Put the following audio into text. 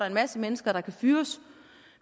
en masse mennesker der kan fyres